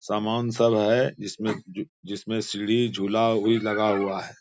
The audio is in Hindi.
सामान सब है जिसमें जिसमें सीढ़ी झूला भी लगा हुआ है।